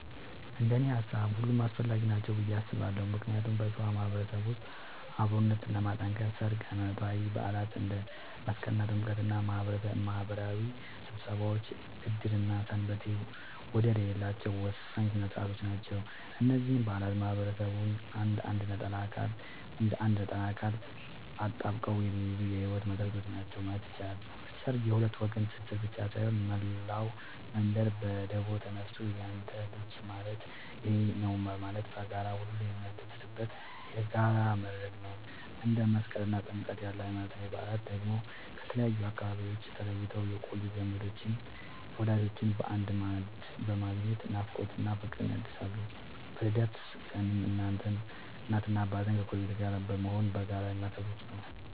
እንደኔ ሃሳብ ሁሉም አስፈላጊ ናቸው ብዬ አስባለሁ ምክንያቱም በሸዋ ማህበረሰብ ውስጥ አብሮነትን ለማጥከር ሠርግ፣ ሃይማኖታዊ በዓላት እንደ መስቀልና ጥምቀት እና ማህበራዊ ስብሰባዎች ዕድርና ሰንበቴ ወደር የሌላቸው ወሳኝ ሥነ ሥርዓቶች ናቸው። እነዚህ በዓላት ማህበረሰቡን እንደ አንድ ነጠላ አካል አጣብቀው የሚይዙ የህይወት መሰረቶች ናቸው ማለት ይቻላል። ሠርግ የሁለት ወገን ትስስር ብቻ ሳይሆን፣ መላው መንደር በደቦ ተነሳስቶ ያንተ ልጅ ማለት የኔ ነዉ በማለት በጋራ ሁሉንም የሚያስደስትበት የጋራ መድረክ ነው። እንደ መስቀልና ጥምቀት ያሉ ሃይማኖታዊ በዓላት ደግሞ ከተለያዩ አካባቢዎች ተለይተው የቆዩ ዘመዶችንና ወዳጆችን በአንድ ማዕድ በማገናኘት ናፍቆትን እና ፍቅርን ያድሳሉ። በልደት ቀንም እናትና አባት ከጎረቤት ጋር በመሆን በጋራ የሚያከብሩት ነዉ።